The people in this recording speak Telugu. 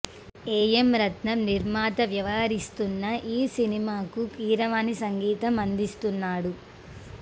ఏ ఎం రత్నం నిర్మాత వ్యవహరిస్తున్న ఈ సినిమాకు కీరవాణి సంగీతం అందిస్తున్నాడు